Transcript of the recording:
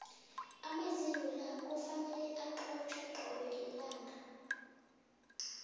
amazinyo la kufanele acotjhwe cobe lilanga